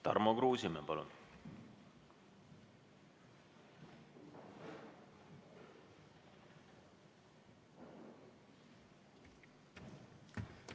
Tarmo Kruusimäe, palun!